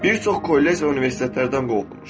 Bir çox kollec və universitetlərdən qovulmuşam.